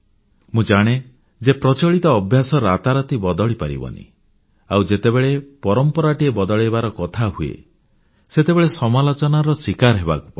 ମୁଁ ଜାଣେ ଯେ ପ୍ରଚଳିତ ଅଭ୍ୟାସ ରାତାରାତି ବଦଳି ପାରିବନି ଆଉ ଯେତେବେଳେ ପରମ୍ପରାଟିଏ ବଦଳାଇବାର କଥା ହୁଏ ସେତେବେଳେ ସମାଲୋଚନାର ଶିକାର ହେବାକୁ ପଡ଼େ